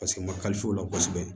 Paseke u ma o la kosɛbɛ